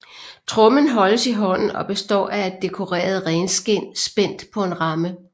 Trommen holdes i hånden og består af et dekoreret renskind spændt på en ramme